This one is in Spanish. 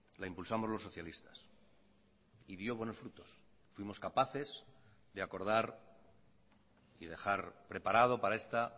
la impulsamos los socialistas y dio buenos frutos fuimos capaces de acordar y dejar preparado para esta